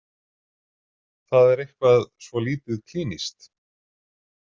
Það er eitthvað svo lítið klínískt.